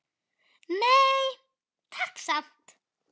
Nei, takk samt!